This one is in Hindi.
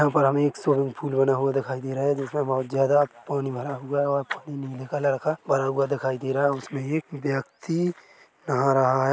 यहाँ पर हमे एक स्वीमिंग पूल बना हुआ दिखाई दे रहा है जिसमें बहोत ज्यादा पानी भरा हुआ है और पानी नीले कलर का भरा हुआ दिखाई दे रहा है और उसमें एक व्यक्ति नहा रहा है।